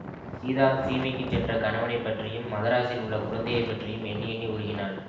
சீதா சீமைக்குச் சென்ற கணவனைப் பற்றியும் மதராஸில் உள்ள குழந்தையை பற்றியும் எண்ணி எண்ணி உருகினாள்